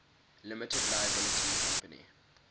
limited liability company